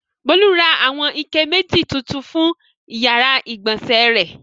Bólú ra àwọn ike méjì tuntun fún ìyàrá-ìgbọ̀nsẹ̀ rẹ̀.